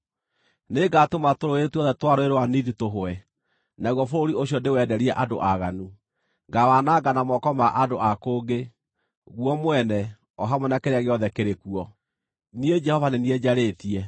Nĩngatũma tũrũũĩ tuothe twa Rũũĩ rwa Nili tũhwe, naguo bũrũri ũcio ndĩwenderie andũ aaganu; ngaawananga na moko ma andũ a kũngĩ, guo mwene, o hamwe na kĩrĩa gĩothe kĩrĩ kuo. Niĩ Jehova nĩ niĩ njarĩtie.